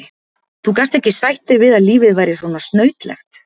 Þú gast ekki sætt þig við að lífið væri svo snautlegt.